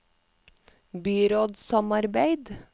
byrådssamarbeid